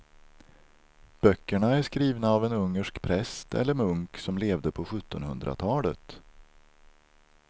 Böckerna är skrivna av en ungersk präst eller munk som levde på sjuttonhundratalet.